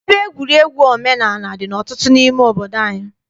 Ebe egwuregwu omenaala dị ọtụtụ n'ime obodo.